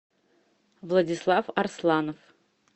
владислав арсланов